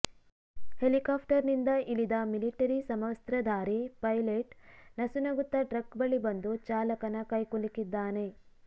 ಹೆಲಿಕಾಪ್ಟರ್ನಿಂದ ಇಳಿದ ಮಿಲಿಟರಿ ಸಮವಸ್ತ್ರಧಾರಿ ಪೈಲೆಟ್ ನಸುನಗುತ್ತಾ ಟ್ರಕ್ ಬಳಿ ಬಂದು ಚಾಲಕನ ಕೈಕುಲುಕಿದ್ದಾನೆ